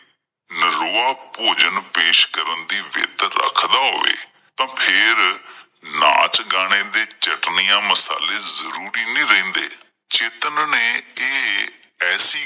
ਨਿਰੋਆ ਭੋਜਨ ਪੇਸ਼ ਕਰਨ ਦੀ ਵਿੱਤ ਰੱਖਦਾ ਹੋਵੇ ਤਾਂ ਫੇਰ ਨਾਚ ਗਾਣੇ ਤੇ ਚਟਣੀਆਂ ਮਸਾਲੇ ਜਰੂਰੀ ਨਹੀਂ ਰਹਿੰਦੇ। ਚੇਤਨ ਨੇ ਇਹ ਐਸੀ